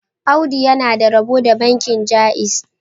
Audu yana da rabo da bankin Jaiz